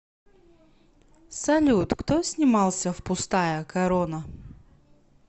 салют кто снимался в пустая корона